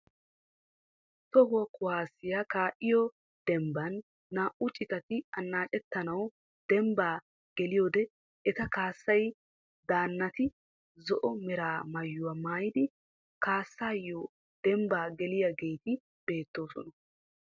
Toho kuwaasiyaa ka'iyoo dembbaan naa"u citati annaacettanwu dembbaa geliyoode eta kaassiyaa daannati zo"o mera maayuwaa maayidi kaassiyoo dembbaa geliyaageti bettoosona.